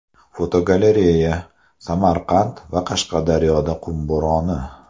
Fotogalereya: Samarqand va Qashqadaryoda qum bo‘roni.